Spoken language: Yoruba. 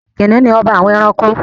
Kìnìnú ni ọba àwọn ẹranko.